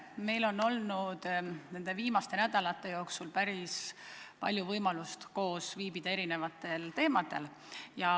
Meil on olnud viimaste nädalate jooksul päris palju võimalusi viibida koos kohtumistel, kus on arutatud eri teemasid.